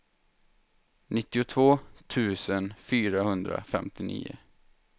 nittiotvå tusen fyrahundrafemtionio